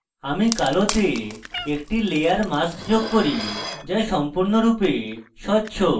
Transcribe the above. আমি black একটি layer mask যোগ করি যা সম্পূর্ণরূপে স্বচ্ছ